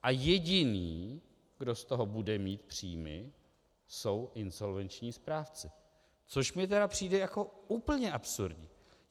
A jediný, kdo z toho bude mít příjmy, jsou insolvenční správci, což mi tedy přijde jako úplně absurdní.